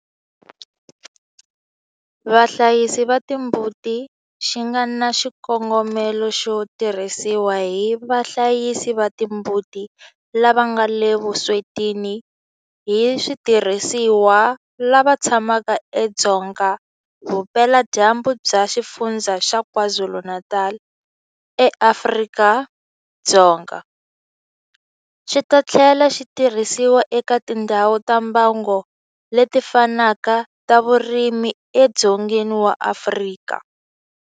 Vahlayisi va timbuti xi nga na xikongomelo xo tirhisiwa hi vahlayisi va timbuti lava nga le vuswetini hi switirhisiwa lava tshamaka edzonga vupeladyambu bya Xifundzha xa KwaZulu-Natal eAfrika-Dzonga, xi ta tlhela xi tirhisiwa eka tindhawu ta mbango leti fanaka ta vurimi edzongeni wa Afrika.